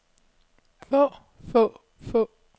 få få få